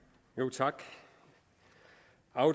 tak